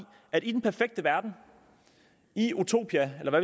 at i den perfekte verden i utopia eller